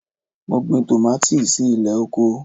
Mo gbin tòmátòsì si ilẹ̀ oko.